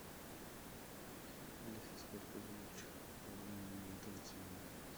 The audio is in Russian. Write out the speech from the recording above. алиса сколько будет по времени готовиться мой заказ